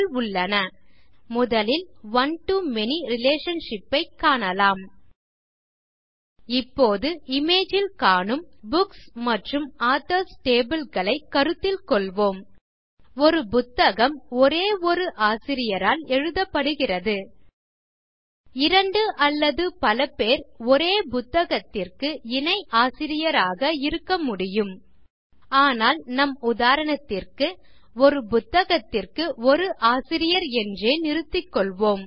இப்போது அவற்றைக் காண்போம் முதலில் one to மேனி ரிலேஷன்ஷிப் ஐ காணலாம் இப்போது இமேஜ் ல் காணும் புக்ஸ் மற்றும் ஆதர்ஸ் tableகளை கருத்தில் கொள்வோம் ஒரு புத்தகம் ஒரே ஒரு ஆசிரியரால் எழுதப்படுகிறது இரண்டு அல்லது பலபேர் ஒரே புத்தகத்திற்கு இணைஆசிரியராக இருக்க முடியும் ஆனால் நம் உதாரணத்திற்கு ஒரு புத்தகத்திற்கு ஒரு ஆசிரியர் என்றே நிறுத்திக்கொள்வோம்